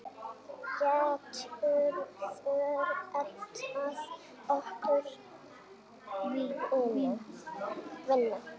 Geturðu reddað okkur vinnu?